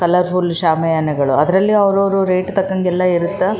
ಯಾವ್ದೋ one function ಇಗೆ ಆ ಥರ ಶಾಮಿಯಾನ ಬಳ್ಸಿ--